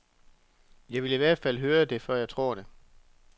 Jeg vil i hvert fald høre det før jeg tror det.